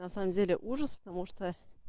на самом деле ужас потому что